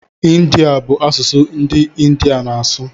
Ịndiya bụ asụsụ ndị India na-asụ